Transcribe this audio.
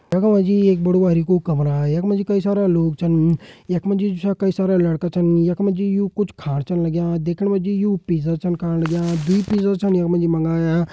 देखो भाईजी ये एक बडु-बरिकु कमरा यखमा जी कई सारा लोग छन यखमा जी जो च कई सारा लड़का छन यखमा जी यु कुछ खाण छन लाग्यां दिखण मजी यु पिज़्ज़ा छन खाण लाग्यां दुइ पिज़्ज़ा छन यखमा जी मांग्या।